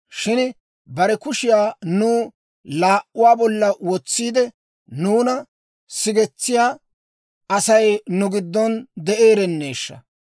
Shin bare kushiyaa nu laa"uwaa bolla wotsiide, nuuna sigetsiyaa Asay nu giddon de'eerenneeshsha!